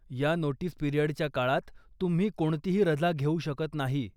या नोटीस पिरियडच्या काळात तुम्ही कोणतीही रजा घेऊ शकत नाही.